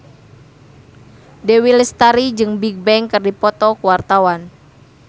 Dewi Lestari jeung Bigbang keur dipoto ku wartawan